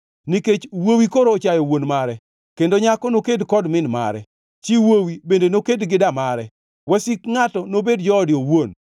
Nikech wuowi koro ochayo wuon mare, kendo nyako noked kod min mare; chi wuowi bende noked gi damare, wasik ngʼato nobed joode owuon.